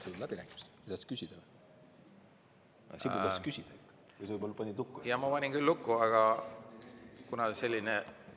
Jaa, ma panin küll lukku, aga kuna mina eksisin korra, siis ma nüüd.